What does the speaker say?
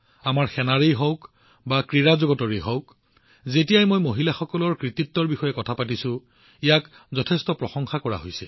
আমাৰ সেনাই হওক বা ক্ৰীড়া জগত যেতিয়াই মই মহিলাসকলৰ কৃতিত্বৰ বিষয়ে কথা পাতিছো ইয়াক যথেষ্ট প্ৰশংসা কৰা হৈছে